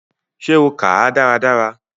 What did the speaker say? Ṣe o kàá dáradára?